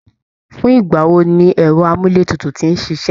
Fún ìgbà wo ni ẹ̀rọ amúletutù tin ṣíṣe?